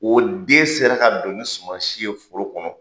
O den sera ka don ni suman si ye foro kɔnɔ.